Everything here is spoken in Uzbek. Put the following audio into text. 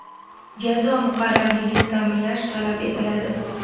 jazo muqarrarligini ta’minlash talab etiladi.